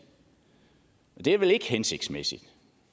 og det er vel ikke hensigtsmæssigt